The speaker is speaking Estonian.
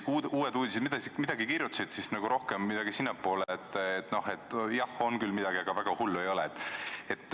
Uued Uudised midagi kirjutasid, aga see oli nagu rohkem sinnapoole, et jah, on küll midagi, aga väga hull ei ole.